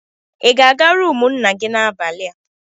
Ị ga-aga rumụ nna gị n'abalị a?